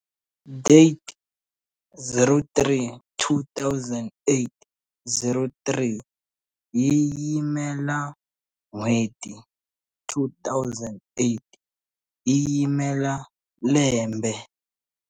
DATE 03 2008 03 yi yimela n'hweti 2008 yi yimela lembe.